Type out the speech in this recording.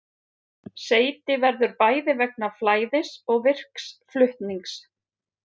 Seyti verður bæði vegna flæðis og virks flutnings.